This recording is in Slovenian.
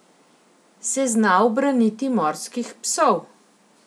Se zna ubraniti morskih psov?